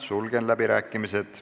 Sulgen läbirääkimised.